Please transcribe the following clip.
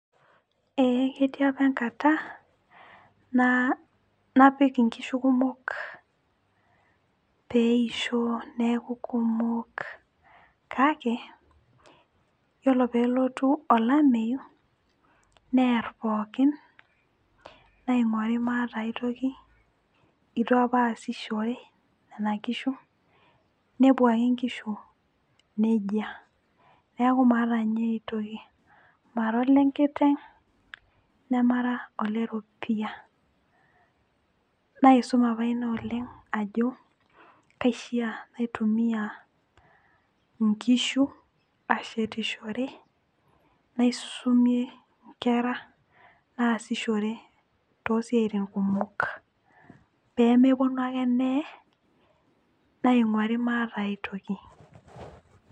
ee ketii apa enkata napik nkishu kumok peisho neku kumok, kake iyiolo pee elotu olameyu neer pokin, naing'uari maata aitoki. eitu apa aasishoore nena kishu. nepuo ake nkishu nejia. neeku maata ninye aitoki. mara olenkiteng' nemara oleropiyia. naisum apa ina ajo, kaishaa naitumia nkishu ashetishore, naisumie nkera naasishore toosiatin kumok. pee mepuonu ake neye, naing'auri maata aitoki.